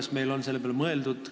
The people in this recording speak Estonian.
Kas meil on selle peale mõeldud?